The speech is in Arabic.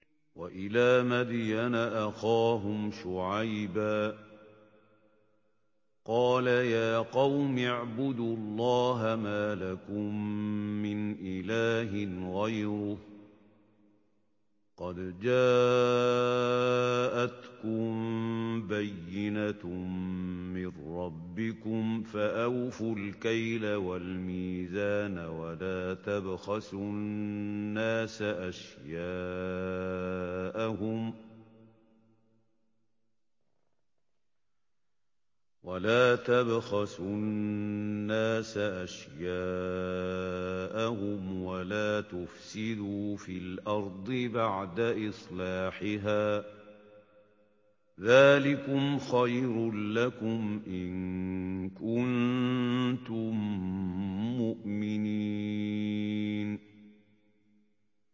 وَإِلَىٰ مَدْيَنَ أَخَاهُمْ شُعَيْبًا ۗ قَالَ يَا قَوْمِ اعْبُدُوا اللَّهَ مَا لَكُم مِّنْ إِلَٰهٍ غَيْرُهُ ۖ قَدْ جَاءَتْكُم بَيِّنَةٌ مِّن رَّبِّكُمْ ۖ فَأَوْفُوا الْكَيْلَ وَالْمِيزَانَ وَلَا تَبْخَسُوا النَّاسَ أَشْيَاءَهُمْ وَلَا تُفْسِدُوا فِي الْأَرْضِ بَعْدَ إِصْلَاحِهَا ۚ ذَٰلِكُمْ خَيْرٌ لَّكُمْ إِن كُنتُم مُّؤْمِنِينَ